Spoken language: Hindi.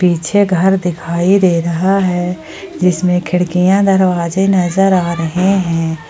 पीछे घर दिखाई दे रहा है जिसमें खिड़कियां दरवाजे नजर आ रहे हैं।